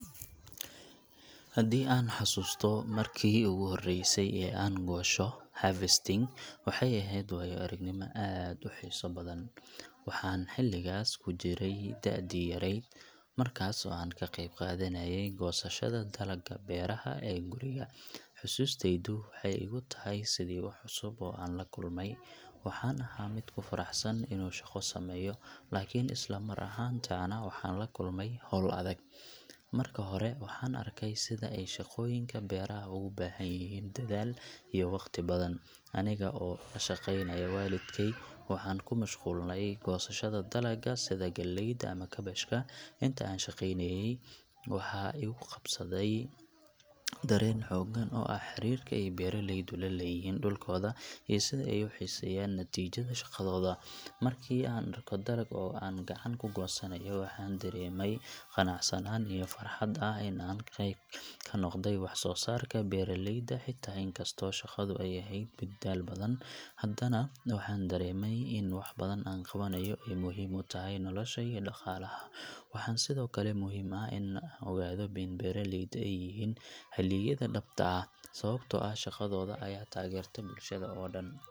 Haddii aan xasuusto markii ugu horreysay ee aan goosho harvesting, waxay ahayd waayo-aragnimo aad u xiiso badan. Waxaan xilligaas ku jiray da'dii yarayd, markaas oo aan ka qeyb qaadanayay goosashada dalagga beeraha ee guriga. Xusuustaydu waxay igu tahay sidii wax cusub oo aan la kulmay. Waxaan ahaa mid ku faraxsan inuu shaqo sameeyo, laakiin isla mar ahaantaana waxaan la kulmay hawl adag. Marka hore, waxaan arkay sida ay shaqooyinka beeraha uga baahan yihiin dadaal iyo waqti badan. Aniga oo la shaqeynaya waalidkay, waxaan ku mashquulnay goosashada dalagga sida galleyda ama kaabashka. Inta aan shaqaynayay, waxaa igu qabsaday dareen xooggan oo ah xiriirka ay beeralaydu la leeyihiin dhulkooda iyo sida ay u xiiseeyaan natiijada shaqadooda. Markii aan arko dalagga oo aan gacan ku goosanayo, waxaan dareemay qanacsanaan iyo farxad ah in aan qayb ka noqday wax-soo-saarka beeralayda. Xitaa inkastoo shaqadu ay ahayd mid daal badan, haddana waxaan dareemay in waxa aan qabanayo ay muhiim u tahay nolosha iyo dhaqaalaha. Waxaa sidoo kale muhiim ah in aan ogaado in beeralaydu ay yihiin halyeyda dhabta ah, sababtoo ah shaqadooda ayaa taageerta bulshada oo dhan.